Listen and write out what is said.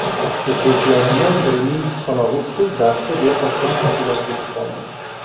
O‘quvchilarimdan birining tutqanog‘i tutib, darsda bexosdan hushidan ketib qoldi.